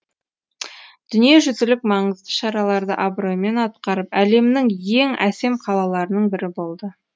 дүниежүзілік маңызды шараларды абыроймен атқарып әлемнің ең әсем қалаларының бірі болды